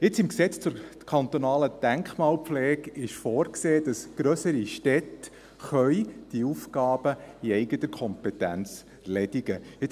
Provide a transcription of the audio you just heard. Im kantonalen Gesetz über die Denkmalpflege (Denkmalpflegegesetz, DPG) ist vorgesehen, dass grössere Städte diese Aufgaben in eigener Kompetenz erledigen können.